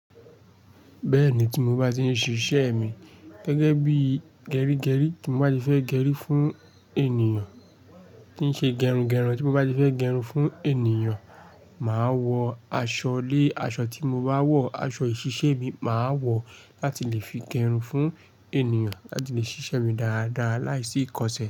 Bẹ́ẹ̀ni, tí mo bá ti ń ṣiṣẹ́ mi gẹ́gẹ́ bíi gerígerí, tí mo bá ti fẹ́ gerí fún ènìyàn, tí ń ṣe gẹrungẹrun, tí mo bá ti fẹ́ gẹrun fún ènìyàn, màá wọ aṣọ lé aṣọ tí mo bá wọ̀, aṣọ ìṣiṣẹ́ mi màá wọ láti lè fi gẹrun fún ènìyàn láti fi ṣiṣẹ́ mi dáadáa láìsí ìkọsẹ̀